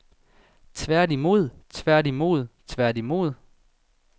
tværtimod tværtimod tværtimod